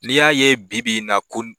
N'i y'a ye bi-bi na ko n